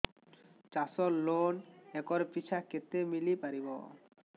ଚାଷ loan acre ପିଛା କେତେ ମିଳି ପାରିବ